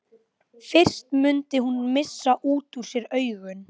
Fyrst mundi hún missa út úr sér augun.